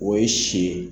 O ye si ye